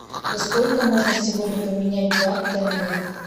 за сколько можно сегодня поменять два тенге